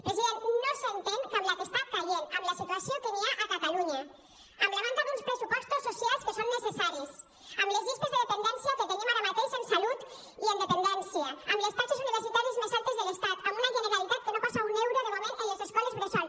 president no s’entén que amb la que està caient amb la situació que hi ha a ca·talunya amb la manca d’uns pressupostos socials que són necessaris amb les llistes de espera que tenim ara mateix en salut i en dependència amb les taxes università·ries més altes de l’estat amb una generalitat que no posa un euro de moment en les escoles bressol